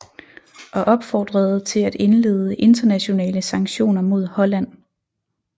Og opfordrede til at indlede internationale sanktioner mod Holland